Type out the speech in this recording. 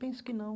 Penso que não.